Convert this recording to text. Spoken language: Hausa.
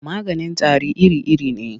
Maganin tari iri-iri ne.